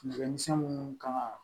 Fɛn misɛn munnu kan ŋa